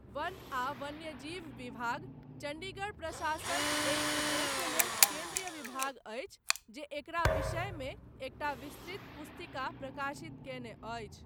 वन आ वन्यजीव विभाग, चण्डीगढ़ प्रशासन एहि उद्देश्य लेल केन्द्रीय विभाग अछि जे एकरा विषयमे एकटा विस्तृत पुस्तिका प्रकाशित कयने अछि।